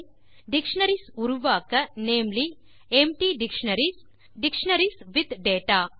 dictionaries உருவாக்க namely empty dictionaries dictionaries with data